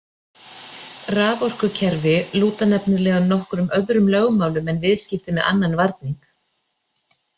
Raforkukerfi lúta nefnilega nokkuð öðrum lögmálum en viðskipti með annan varning.